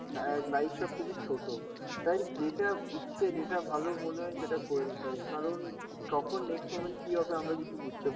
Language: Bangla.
লা~ অ্যাঁ life টা খুবই ছোট. তাই যেটা ইচ্ছে, যেটা ভালো মনে হয় সেটা করি তাই কারণ উম কখন next moment কি হবে আমরা কিছু বুঝতে